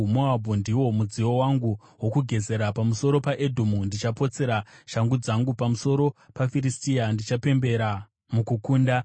Moabhu ndiwo mudziyo wangu wokugezera, pamusoro paEdhomu ndichapotsera shangu dzangu; pamusoro paFiristia ndichapembera mukukunda.”